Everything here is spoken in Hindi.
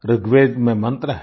ऋगवेद में मन्त्र है